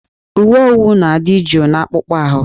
Uwe owu na-adị jụụ n'akpụkpọ ahụ